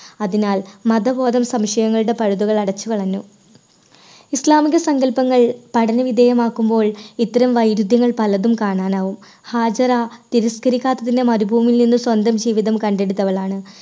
അതിനാൽ മതബോധം സംശയങ്ങളുടെ പഴുതുകൾ അടച്ചുകളഞ്ഞു. ഇസ്ലാമിന്റെ സങ്കല്പങ്ങൾ പഠനവിധേയമാക്കുമ്പോൾ ഇത്തരം വൈരുദ്ധ്യങ്ങൾ പലതും കാണാനാവും ഹാജിറ മരുഭൂമിയിൽ നിന്ന് സ്വന്തം ജീവിതം കണ്ടെടുത്തവളാണ്.